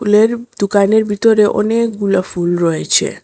এর দোকানের ভিতরে অনেকগুলা ফুল রয়েছে।